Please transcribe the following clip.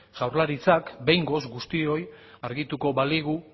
jaurlaritzak behingoz guztioi argituko baligu